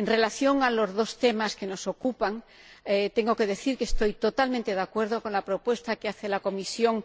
En relación con los dos temas que nos ocupan, tengo que decir que estoy totalmente de acuerdo con la propuesta que hace la Comisión